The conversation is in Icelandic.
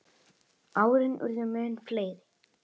Árin urðu mun fleiri.